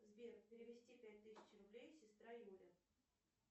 сбер перевести пять тысяч рублей сестра юля